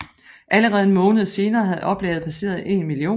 Allerede en måned senere havde oplaget passeret en million